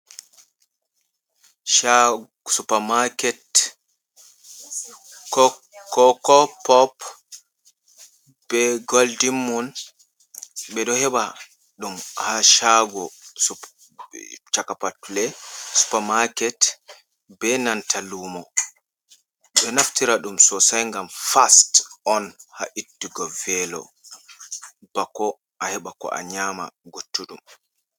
Cha Super market, kok koko pop be Goldinmun ɓe ɗo heɓa ɗum ha Shago sup super market be nanta lumo, ɓe ɗon naftira ɗum Sosai ngam fas on ha ittugo velo bako a heɓa ko a nyama guttuɗum.